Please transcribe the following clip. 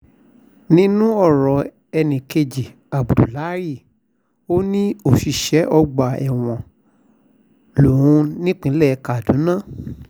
nínú ọ̀rọ̀ ẹnì kejì abdullahi ò ní òṣìṣẹ́ ọgbà ẹ̀wọ̀n lóun nípìnlẹ̀ kaduna